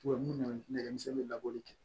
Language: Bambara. Tubabu nɛgɛmisɛnnin bɛ labɔ